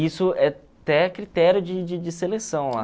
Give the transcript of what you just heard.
Isso é até critério de de de seleção lá.